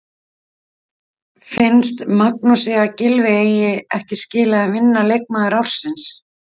Finnst Magnúsi að Gylfi eigi ekki skilið að vinna leikmaður ársins?